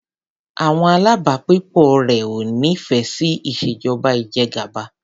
Àwọn alábàágbépọ̀ rẹ̀ ò nífẹẹ sí ìṣèjọba ìjẹgàba.